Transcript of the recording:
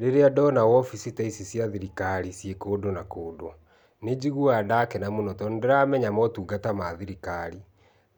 Rĩrĩa ndona wobici ta ici cia thirikari ciĩ kũndũ na kũndũ nĩ njigũaga ndakena tondũ nĩ ndĩramenya motungata ma thirikari